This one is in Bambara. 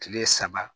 Kile saba